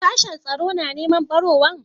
Sashen tsaro na neman ɓarawon?